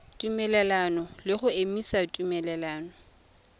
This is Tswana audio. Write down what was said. tumelelano le go emisa tumelelano